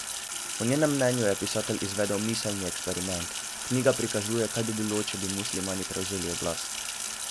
Po njenem mnenju je pisatelj izvedel miselni eksperiment: 'Knjiga prikazuje, kaj bi bilo, če bi muslimani prevzeli oblast.